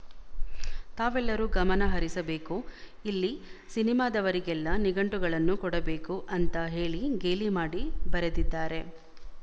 ತಾವೆಲ್ಲರೂ ಗಮನಹರಿಸಬೇಕು ಅಲ್ಲಿ ಸಿನಿಮಾದವರಿಗೆಲ್ಲ ನಿಘಂಟುಗಳನ್ನು ಕೊಡಬೇಕು ಅಂತಾ ಹೇಳಿ ಗೇಲಿ ಮಾಡಿ ಬರೆದಿದ್ದಾರೆ